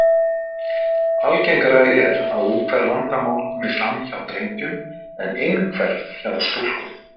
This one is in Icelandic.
Algengara er að úthverf vandamál komi fram hjá drengjum en innhverf hjá stúlkum.